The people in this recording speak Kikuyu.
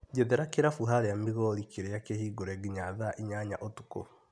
Njethera kĩrabu harĩa Mĩgorĩ kĩrĩa kĩhingũre nginya thaa inyanya ũtukũ.